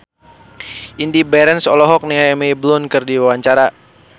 Indy Barens olohok ningali Emily Blunt keur diwawancara